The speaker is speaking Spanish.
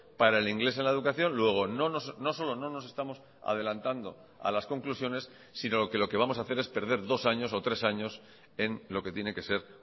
para el inglés en la educación luego no solo no nos estamos adelantando a las conclusiones sino que lo que vamos a hacer es perder dos años o tres años en lo que tiene que ser